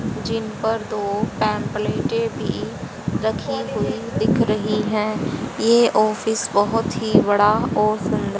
जिन पर दो पैंपलेटे भी रखी हुई दिख रही हैं ये ऑफिस बहुत ही बड़ा और सुंदर--